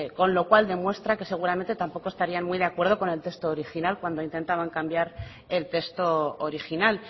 con lo cual demuestra que seguramente tampoco estarían muy de acuerdo con el texto original cuando intentaban cambiar el texto original